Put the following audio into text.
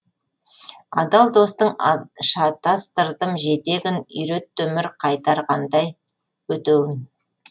адал достың шатастырдым жетегін үйретті өмір қайтарғандай өтеуін